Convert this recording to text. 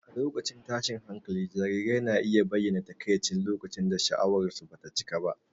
A lokacin tashin hankali, jarirai na iya bayyana takaici lokacin da sha'awarsu ba ta cika ba.